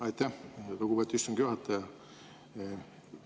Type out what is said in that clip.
Aitäh, lugupeetud istungi juhataja!